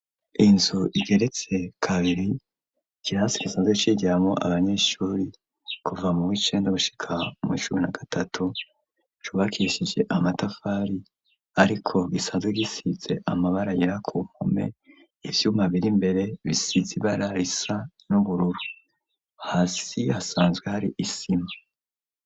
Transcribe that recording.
Inzu igeretse kabiri ikirasi gisanzwe cigiramwo abanyeshuri kuva mu w'icenda gushika mu w'icumi na gatatu cubakishije amatafari ariko gisanzwe gisize amabara yera ku mpome ivyuma biri mbere bisize ibara risa n'ubururu hasi hasanzwe hari isima.